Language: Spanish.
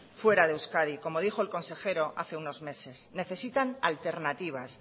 fuera de euskadi como dijo en consejero hace unos meses necesitan alternativas